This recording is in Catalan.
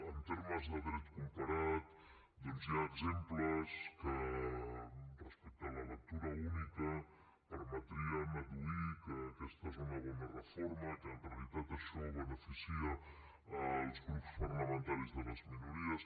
en termes de dret comparat doncs hi ha exemples que respecte a la lectura única permetrien adduir que aquesta és una bona reforma que en realitat això beneficia els grups parlamentaris de les minories